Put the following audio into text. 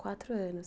Quatro anos.